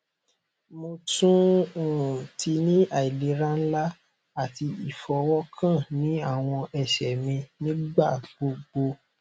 mo tun um ti ni ailera nla ati ifọwọkan ni awọn ẹsẹ mi nigbagbogbo